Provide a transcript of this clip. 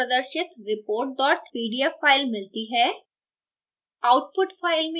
हमें दायीं तरफ प्रदर्शित report pdf file मिलती है